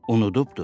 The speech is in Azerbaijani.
Unudubdur.